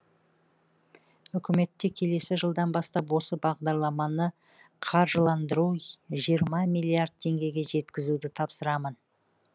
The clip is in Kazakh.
үкіметке келесі жылдан бастап осы бағдарламаны қаржыландыру жиырма миллиард теңгеге жеткізуді тапсырамын